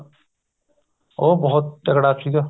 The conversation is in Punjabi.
ਉਹ ਬਹੁਤ ਤਗੜਾ ਸੀਗਾ